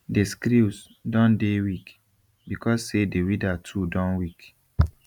the screws don dey weak because say the weeder too don weak